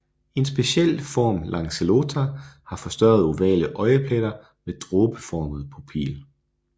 En speciel form lanceolata har forstørrede ovale øjepletter med dråbeformet pupil